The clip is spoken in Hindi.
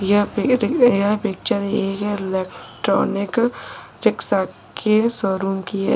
यह यह पिक्चर एक इलेक्ट्रॉनिक रिक्शा के शोरूम की है।